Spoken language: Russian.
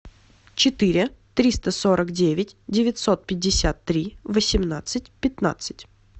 четыре триста сорок девять девятьсот пятьдесят три восемнадцать пятнадцать